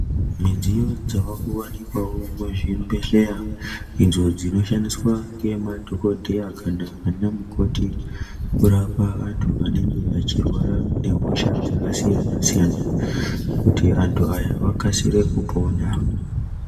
Midziyo dzavakuvanikwavo muzvibhedhleya idzo dzinoshandiswa ngemadhokodheya kana vana mukoti kurapa antu anenge echirwara nehosha dzakasiyana-siyana, kuti vantu aya akasire kupona.